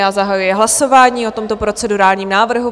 Já zahajuji hlasování o tomto procedurálním návrhu.